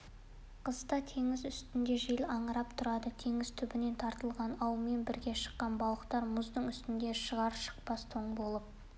қыста теңіз үстінде жел аңырап тұрады теңіз түбінен тартылған аумен бірге шыққан балықтар мұздың үстіне шығар-шықпас тоң болып